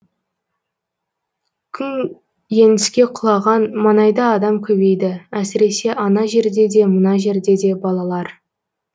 күн еңіске құлаған маңайда адам көбейді әсіресе ана жерде де мына жерде де балалар